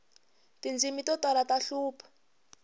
tindzimi to tala ta hlupha